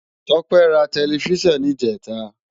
Tope rá tèlèfisán nijètá